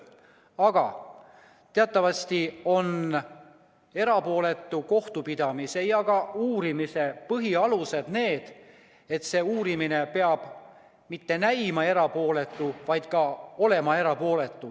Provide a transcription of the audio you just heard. Aga teatavasti on erapooletu kohtupidamise ja ka uurimise põhialus see, et uurimine peab mitte ainult näima erapooletu, vaid ka olema erapooletu.